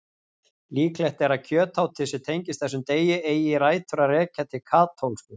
Líklegt er að kjötátið sem tengist þessum degi eigi rætur að rekja til katólsku.